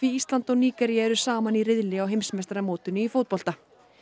Ísland og Nígería eru saman í riðli á heimsmeistaramótinu í fótbolta